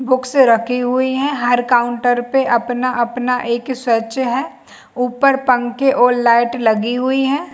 Books रखी हुई है हर काउंटर पे अपना -अपना एक ही स्वच्छ है ऊपर पंखे और लाइट लगी हुई है।